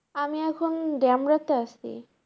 আমি এখন তে আছি।